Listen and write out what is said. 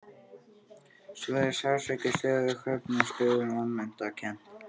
Stöðugur sársauki, stöðug höfnun, stöðug vanmetakennd.